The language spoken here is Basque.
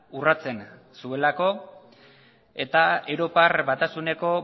urratsen zuelako eta europar batasuneko